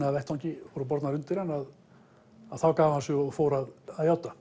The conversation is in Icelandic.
á vettvangi voru bornar undir hann þá gaf hann sig og fór að játa